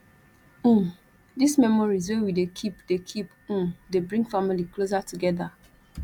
um dese memories wey we dey keep dey keep um dey bring family closer togeda